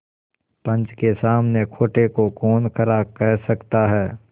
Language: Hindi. पंच के सामने खोटे को कौन खरा कह सकता है